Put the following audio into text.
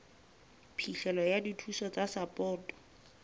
phihlelo ya dithuso tsa sapoto